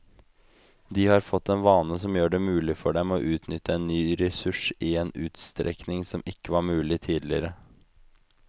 De har fått en vane som gjør det mulig for dem å utnytte en ny ressurs i en utstrekning som ikke var mulig tidligere.